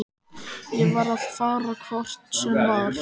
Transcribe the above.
Ég var að fara hvort sem var.